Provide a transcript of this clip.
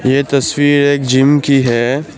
ये तस्वीर एक जिम की है ।